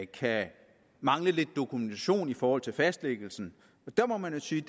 kan mangle lidt dokumentation i forhold til fastlæggelsen der må man jo sige